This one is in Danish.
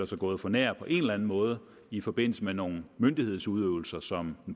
sig gået for nær på en eller enden måde i forbindelse med nogle myndighedsudøvelser som